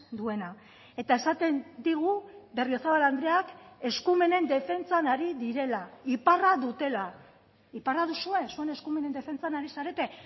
duena eta esaten digu berriozabal andreak eskumenen defentsan ari direla iparra dutela iparra duzue zuen eskumenen defentsan ari zarete